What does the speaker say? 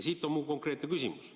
Mul on konkreetne küsimus.